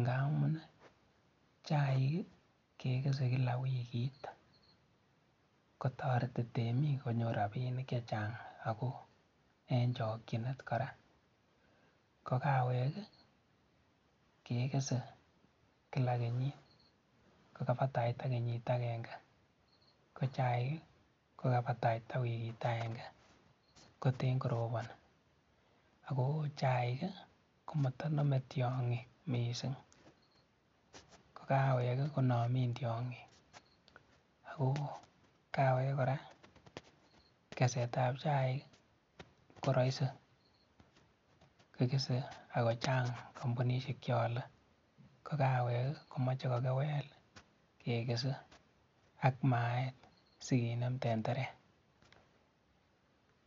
ngamun chaik ke kesei kila wikit, ko toreti temik konyoru robinik che chang eku eng chokchinet kora. Ko kawek kekesei kila kenyit ko kabataita kenyit agenge, ko chaik kobataita wikit agenge koteny korobon. Ako chaik ko mata nomei tyong'ik mising .Ko kawek ko namin tyong'ik aku kawek kora, kesetab chaik ko rahisi kekesei ako chang kampunisiek che ole, ko kawek ko mache kokewel kekesei ak maet sikenam tentere